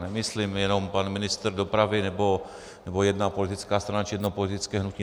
Nemyslím jenom pan ministr dopravy nebo jedna politická stran či jedno politické hnutí.